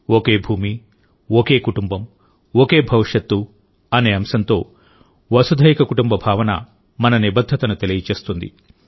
ఒకే భూమిఒకే కుటుంబంఒకే భవిష్యత్తు అనే అంశంతో వసుధైక కుటుంబ భావన మన నిబద్ధతను తెలియజేస్తుంది